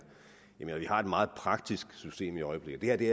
jeg det vi har et meget praktisk system i øjeblikket og det